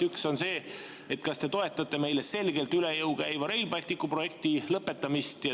Üks on see, kas te toetate meile selgelt üle jõu käiva Rail Balticu projekti lõpetamist.